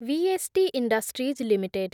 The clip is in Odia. VST Industries limited